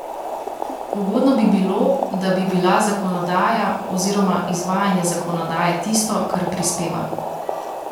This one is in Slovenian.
Ugodno bi bilo, da bi bila zakonodaja oziroma izvajanje zakonodaje tisto, kar prispeva.